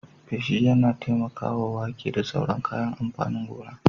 Feshi yana taimakawa wake da sauran kayan amfanin gona.